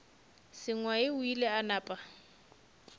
sengwai o ile a napa